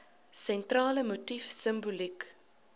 sentrale motief simboliek